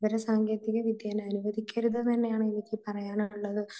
വിവര സാങ്കേതികതയെ അനുവദിക്കരുത് എന്നു തന്നെയാണ് എനിക്ക് പറയാനുള്ളത്.